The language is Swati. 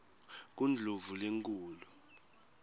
kundlovulenkulu